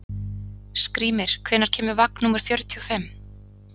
Skrýmir, hvenær kemur vagn númer fjörutíu og fimm?